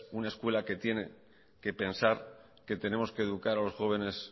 una escuela que tiene que pensar que tenemos que educar a los jóvenes